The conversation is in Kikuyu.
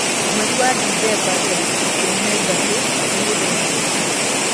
mweri wa ndithemba tarĩki ikũmi na ithatũ ni mũthenya ũrĩkũ